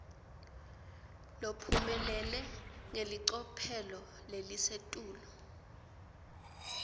lophumelele ngelicophelo lelisetulu